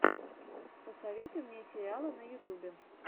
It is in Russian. посоветуй мне сериалы на ютубе